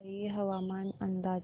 वसई हवामान अंदाज